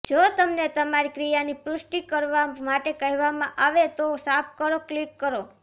જો તમને તમારી ક્રિયાની પુષ્ટિ કરવા માટે કહેવામાં આવે તો સાફ કરો ક્લિક કરો